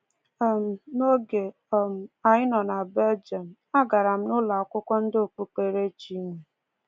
um N’oge um anyị nọ na Belgium, agara m ụlọakwụkwọ ndị okpukperechi nwe.